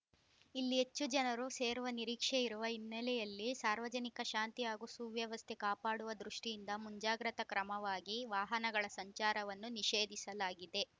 ಇಲ್ಲಿ ಹೆಚ್ಚು ಜನರು ಸೇರುವ ನಿರೀಕ್ಷೆ ಇರುವ ಹಿನ್ನೆಲೆಯಲ್ಲಿ ಸಾರ್ವಜನಿಕ ಶಾಂತಿ ಹಾಗೂ ಸುವ್ಯವಸ್ಥೆ ಕಾಪಾಡುವ ದೃಷ್ಟಿಯಿಂದ ಮುಂಜಾಗ್ರತಾ ಕ್ರಮವಾಗಿ ವಾಹನಗಳ ಸಂಚಾರವನ್ನು ನಿಷೇಧಿಸಲಾಗಿದೆ